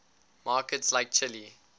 markets like chile